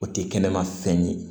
O tɛ kɛnɛma fɛn ye